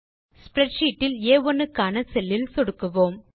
spreadsheet இல் ஆ1 க்கான செல் இல் சொடுக்குவோம்